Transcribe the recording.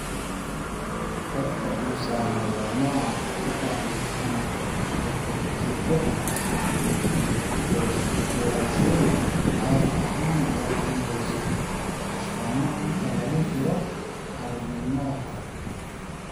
Dadka uu saameeyo nooca hepatic ama hypoketotic hypoglycemic caadi ahaan waxay yeeshaan astaamo inta lagu jiro caruurnimada hore.